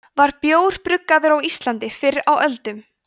var bjór bruggaður á íslandi fyrr á öldum